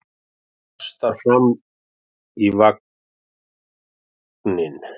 Kastar fram í vagninn.